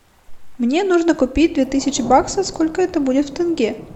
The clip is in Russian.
мне нужно купить две тысячи баксов сколько это будет в тенге